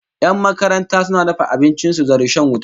Yan makaranta suna dafa abincin su da rishon wuta